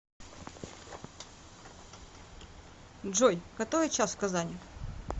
джой который час в казани